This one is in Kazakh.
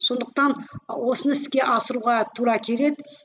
сондықтан осыны іске асыруға тура келеді